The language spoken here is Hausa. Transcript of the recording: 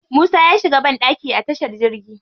Musa ya shiga banɗaki a tashar jirgi.